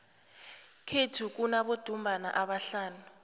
kwethu kunabodumbana abahlanu